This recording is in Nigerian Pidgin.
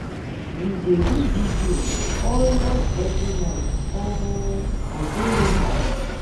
We dey do video almost every night. Omo, I dey miss am.